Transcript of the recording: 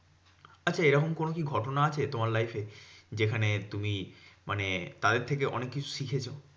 আচ্ছা এরকম কি ঘটনা আছে তোমার life এ? যেখানে তুমি মানে তাদের থেকে অনেককিছু শিখেছো?